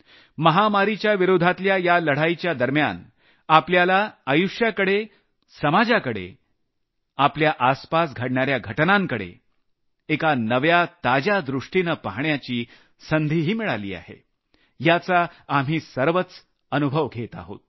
महामारीच्या विरोधातल्या या लढाईच्या दरम्यान आपल्याला आयुष्य समाज आपल्या आसपास घडणाऱ्या घटनांकडे एक नव्या ताज्या दृष्टिनं पहाण्याची संधीही मिळाली आहे याचा आम्ही सर्वच अनुभव घेत आहोत